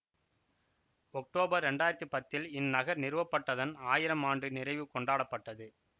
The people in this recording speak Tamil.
ஒக்டோபர் இரண்டாயிரத்தி பத்தில் இந்நகர் நிறுவப்பட்டதன் ஆயிரம் ஆண்டு நிறைவு கொண்டாடப்பட்டது